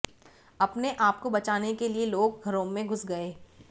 अपने आप को बचाने के लिए लोग घरों में घुस गए